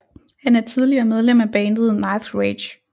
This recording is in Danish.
Han er tidligere medlem af bandet Nightrage